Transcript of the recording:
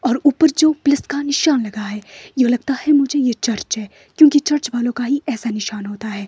और ऊपर जो प्लस का निशान लगा है यो लगता है मुझे ये चर्च है क्योंकि चर्च वालों का ही ऐसा निशान होता है।